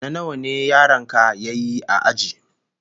What class position did your child come in his school?